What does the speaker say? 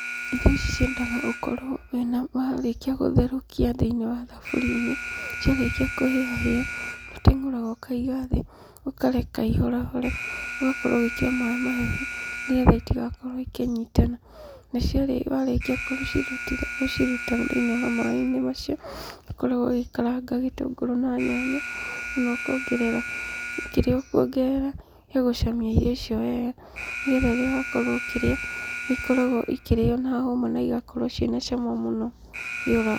Irio ici ciendaga ũkorwo warĩkia gũtherũkia thĩinĩ wa thaburia-inĩ, ciarĩkia kũhĩa hĩa, nĩũteng'ũraga ũkaiga thĩ, ũkareka ihorahore. Ũgakorwo ũgĩkĩra maaĩ mahehu, nĩgetha itigakorwo ikĩnyitana, nacio warĩkia gũciruta thĩinĩ wa maaĩ macio, nĩũkoragwo ũgĩkaranga gĩtũngũrũ na nyanya, kana ũkongerera kĩrĩa ũkuongerera gĩa gũcamia irio icio wega, nĩgetha rĩrĩa wakorwo ũkĩrĩa, nĩikoragwo ikĩrĩo na hũma naigakorwo ciĩnacama mũno rĩrĩa ũrarĩa.